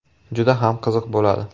Juda ham qiziq bo‘ladi!